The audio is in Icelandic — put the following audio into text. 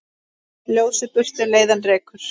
Ljósið burtu leiðann rekur.